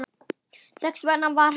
Þess vegna vann hann.